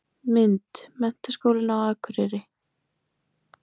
Mynd: Menntaskólinn á Akureyri.